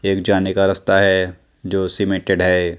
एक जाने का रस्ता है जो सीमेंटेड है।